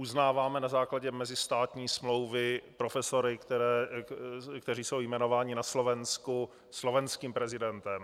Uznáváme na základě mezistátní smlouvy profesory, kteří jsou jmenováni na Slovensku slovenským prezidentem.